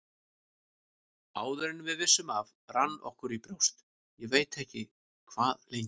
Áður en við vissum af rann okkur í brjóst, ég veit ekki hvað lengi.